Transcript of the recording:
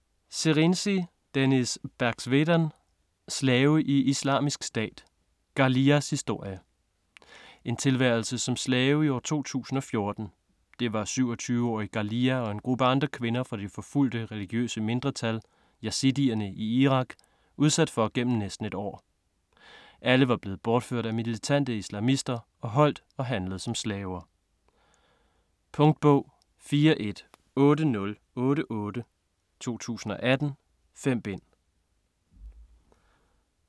Serinci, Deniz Berxwedan: Slave i Islamisk Stat: Ghaliyas historie En tilværelse som slave i år 2014. Det var 27-årige Ghaliya og en gruppe andre kvinder fra det forfulgte, religiøse mindretal yazidierne i Irak udsat for igennem næsten et år. Alle var blevet bortført af militante islamister og holdt og handlet som slaver. Punktbog 418088 2018. 5 bind.